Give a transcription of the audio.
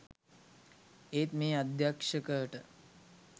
ඒත් මේ අධ්‍යක්ෂකට